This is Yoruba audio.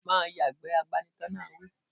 Má a yàgbẹ́, agbanitọ́ náà wí